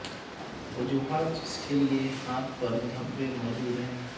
وجوہات جس کے لئے ہاتھ پر دھبے موجود ہیں